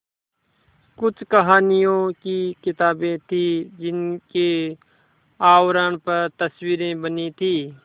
कुछ कहानियों की किताबें थीं जिनके आवरण पर तस्वीरें बनी थीं